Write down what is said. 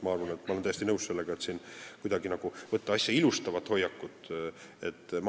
Ma olen täiesti nõus, et ei tohiks kuidagi võtta asja ilustavat hoiakut.